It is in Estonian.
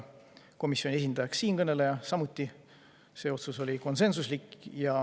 Komisjoni esindajaks määrati siinkõneleja, see otsus oli samuti konsensuslik.